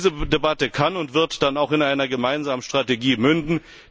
Diese Debatte kann und wird dann auch in einer gemeinsamen Strategie münden.